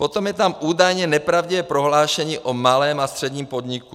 Potom je tam údajně nepravdivé prohlášení o malém a středním podniku.